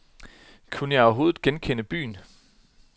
Kunne jeg overhovedet genkende byen?